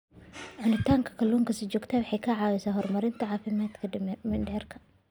Cunista kalluunka si joogto ah waxay caawisaa horumarinta caafimaadka mindhicirka.